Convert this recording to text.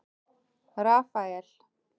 Rafael